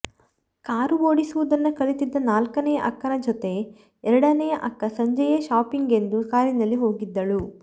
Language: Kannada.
ಕಾರು ಓಡಿಸುವುದನ್ನು ಕಲಿತಿದ್ದ ನಾಲ್ಕನೆಯ ಅಕ್ಕನ ಜೊತೆ ಎರಡನೆಯ ಅಕ್ಕ ಸಂಜೆಯೇ ಶಾಪಿಂಗಿಗೆಂದು ಕಾರಿನಲ್ಲಿ ಹೋಗಿದ್ದಳು